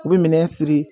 U bɛ minɛn siri